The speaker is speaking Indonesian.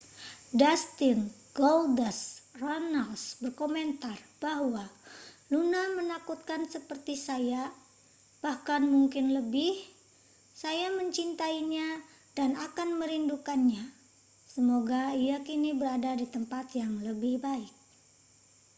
dustin goldust runnels berkomentar bahwa luna menakutkan seperti saya bahkan mungkin lebih saya mencintainya dan akan merindukannya semoga ia kini berada di tempat yang lebih baik